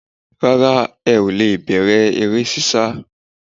Rárá ẹ ò le è bẹ̀rẹ̀ eré sísá